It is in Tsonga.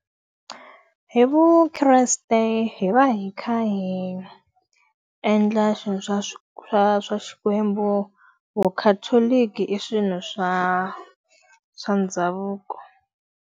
Hi vukreste hi va hi kha hi endla swilo swa swa swa xikwembu, vucatholic i swilo swa swa ndhavuko.